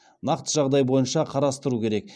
нақты жағдай бойынша қарастыру керек